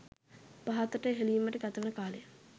පහතට හෙළීමට ගතවන කාලය